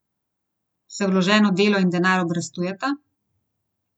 Se vloženo delo in denar obrestujeta?